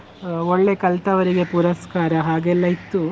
ಆ ಒಳ್ಳೆ ಕಲ್ತವ್ರಿಗೆ ಪುರಸ್ಕಾರ ಹಾಗೆ ಎಲ್ಲಾ ಇತ್ತು.